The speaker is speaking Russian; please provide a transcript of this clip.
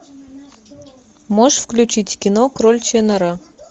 можешь включить кино кроличья нора